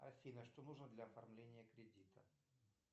афина что нужно для оформления кредита